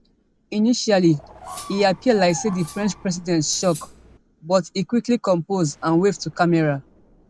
initially e appear like say di french president shock but e quickly compose and wave to camera